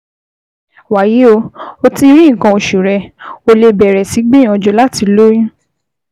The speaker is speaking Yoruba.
Wàyí o, o ti rí nǹkan oṣù rẹ, o lè bẹ̀rẹ̀ sí gbìyànjú láti lóyún